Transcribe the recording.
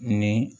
Ni